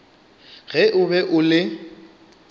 ge o be o le